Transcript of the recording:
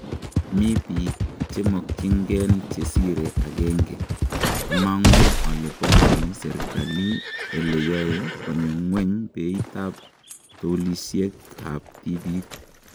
Mii biik chemokyin gen chesire agenge. Amang'u ole pongoni serikali ele yoe konyo ng'weny beit ab touluisieg' ab tibiik.